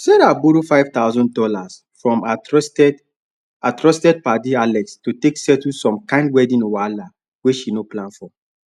sarah borrow five thousand dollars from her trusted her trusted padi alex to take settle some kind wedding wahala wey she no plan for